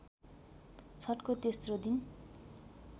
छठको तेस्रो दिन